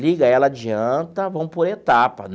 Liga ela adianta, vamos por etapa.